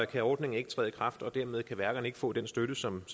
kan ordningen ikke træde i kraft og dermed kan værkerne ikke få den støtte som